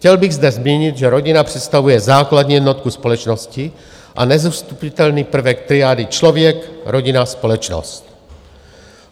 Chtěl bych zde zmínit, že rodina představuje základní jednotku společnosti a nezastupitelný prvek triády člověk-rodina-společnost.